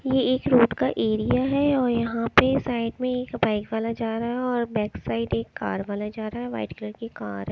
ये एक रोड का एरिया है और यहाँ पे साइड में एक बाइक वाला जा रा है और बैक साइड एक कार वाला जा रा है व्हाइट कलर की कार है।